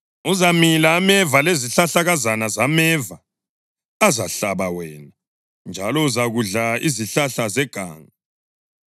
Uzamila ameva lezihlahlakazana zameva azahlaba wena, njalo uzakudla izihlahla zeganga.